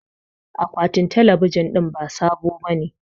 Akwatin talabijin din ba sabo bane